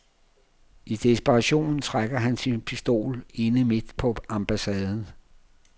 I desperation trækker han sin pistol inde midt på ambassaden.